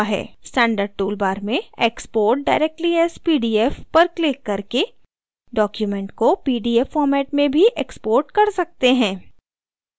standard tool bar में export directly as pdf पर क्लिक करके document को pdf format में भी export कर सकते हैं